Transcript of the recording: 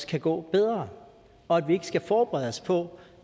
kan gå bedre og at vi ikke skal forberede os på